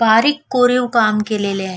बारीक कोरीव काम केलेलं आहे.